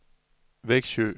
Vexjö